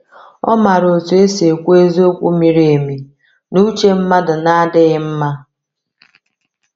Ọ maara otu esi ekwu eziokwu miri emi n’uche mmadụ na-adịghị mma.